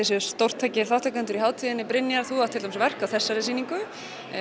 séuð stórtækir þátttakendur í hátíðinni Brynjar þú átt til dæmis verk á þessari sýningu